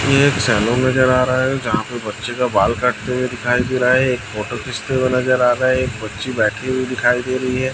एक सैलून नज़र आ रहा है जहाँ पे बच्चे का बाल काटते हुए दिखाई दे रहा है एक फोटो खींचते हुए नज़र आ रहा है एक बच्ची बैठी हुई दिखाई दे रही है।